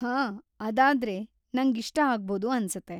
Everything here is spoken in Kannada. ಹಾಂ, ಅದಾದ್ರೆ ನಂಗ್‌ ಇಷ್ಟ ಆಗ್ಬೋದು ಅನ್ಸತ್ತೆ.